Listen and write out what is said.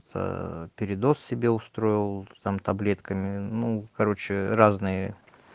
аа передоз себе устроил там таблетками ну короче разные